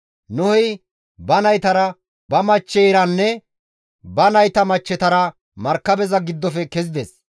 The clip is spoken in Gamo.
Nohey ba naytara, ba machcheyranne ba nayta machchetara markabeza giddofe kezides.